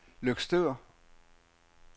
Løgstør